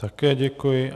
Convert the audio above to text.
Také děkuji.